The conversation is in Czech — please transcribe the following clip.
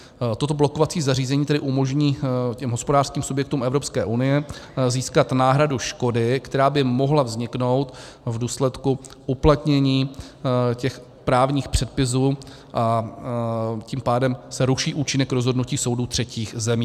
Toto blokovací zařízení tedy umožní těm hospodářským subjektům Evropské unie získat náhradu škody, která by mohla vzniknout v důsledku uplatnění těch právních předpisů, a tím pádem se ruší účinek rozhodnutí soudů třetích zemí.